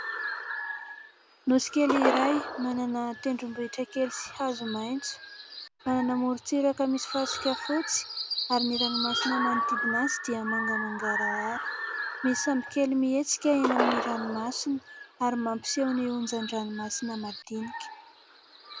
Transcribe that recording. Nosy kely iray manana tendrombohitra kely sy hazo maitso, manana moron-tsiraka misy fasika fotsy ary ny ranomasina manodidina azy dia manga mangarahara. Misy sambokely mihetsika eny amin'ny ranomasina ary mampiseho ny onjan-dranomasina madinika.